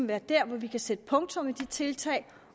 være der hvor vi kan sætte punktum i de tiltag